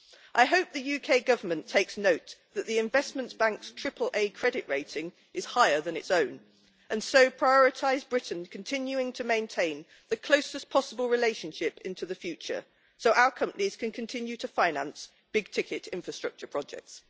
I hope that the UK Government takes note that the Investment Bank's AAA credit rating is higher than its own and so prioritise Britain's continuing to maintain the closest possible relationship into the future, so that our companies can continue to finance big ticket infrastructure projects.